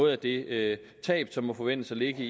af det tab som må forventes at ligge